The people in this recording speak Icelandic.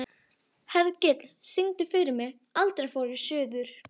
Hergill, syngdu fyrir mig „Aldrei fór ég suður“.